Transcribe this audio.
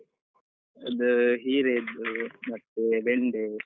ಅದು ಹೀರೆ ಅದ್ದು ಮತ್ತೆ, ಬೆಂಡೆ.